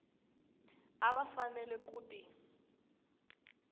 a va fanele ku ti